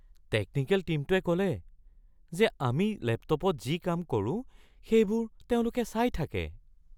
Technical টীমটোৱে ক’লে যে আমি লেপটপত যি কাম কৰোঁ সেইবোৰ তেওঁলোকে চাই থাকে।